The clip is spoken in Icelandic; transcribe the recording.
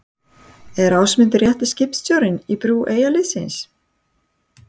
Er Ásmundur rétti skipstjórinn í brú Eyjaliðsins?